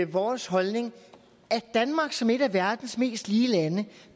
vores holdning at danmark som et af verdens mest lige lande